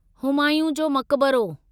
हुमायूं जो मकबरो